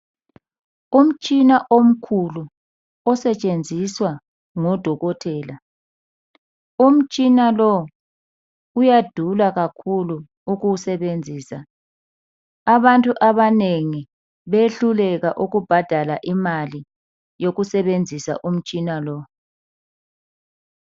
Umtshina omkhulu osetshenziswa ngodokotela. Umtshina lo uyadula kakhulu ukuwusebenzisa. Abantu abanengi bayehluleka ukubhadala imali yokusebenzisa umtshina lo.